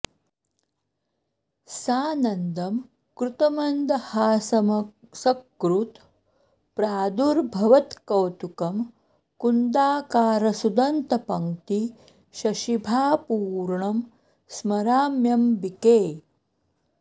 सानन्दं कृतमन्दहासमसकृत् प्रादुर्भवत्कौतुकं कुन्दाकार सुदन्तपङ्क्ति शशिभा पूर्णं स्मराम्यम्बिके